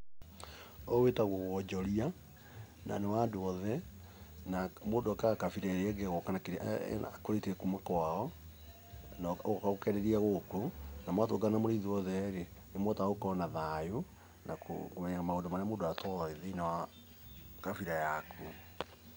Ũyũ wĩtagwo wonjoria, na nĩ wa andũ othe, na mũndũ okaga kabira ĩrĩa ĩngĩ ĩgoka na kĩrĩa akũrĩtie kuma kwao, ũgoka ũkenderia gũkũ, na mwatũngana mũrĩ inyuothe-rĩ, nĩ mũhotaga gũkorwo na thayũ na kũmenya maũndũ marĩa mũndũ atowĩ thĩiniĩ wa kabira yaku.